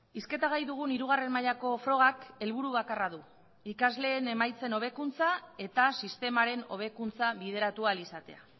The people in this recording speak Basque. hizketa gai dugun hirugarren mailako frogak helburu bakarra du ikasleen emaitzen hobekuntza eta sistemaren hobekuntza bideratu ahal izatea